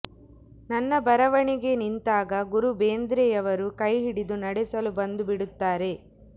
ನನ್ನ ಬರವಣಿಗೆ ನಿಂತಾಗ ಗುರು ಬೇಂದ್ರೆಯವರು ಕೈಹಿಡಿದು ನಡೆಸಲು ಬಂದು ಬಿಡುತ್ತಾರೆ